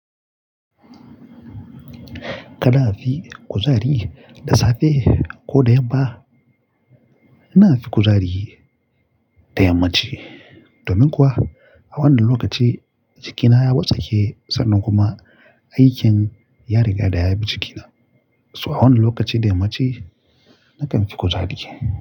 Kada a fi kuzari da safe ko da yamma? Ina fi kuzari da yammaci domin kuwa a wannan lokaci jikina ya watse ke sannan kuma aikin ya riga ya yabi jikina. So a wannan lokaci da yammaci nakan fi kuzari.